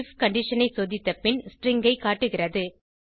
if condition ஐ சோதித்த பின் ஸ்ட்ரிங் ஐ காட்டுகிறது